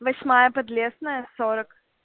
восьмая подлесная сорок